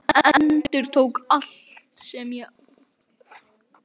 Hann endurtók: Allt sem ég á